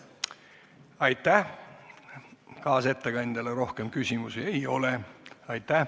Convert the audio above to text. Aitäh, kaasettekandjale rohkem küsimusi ei ole.